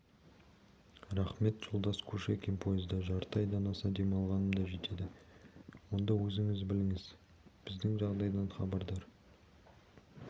рақмет жолдас кушекин пойызда жарты айдан аса демалғаным да жетеді онда өзіңіз біліңіз біздің жағдайдан хабардар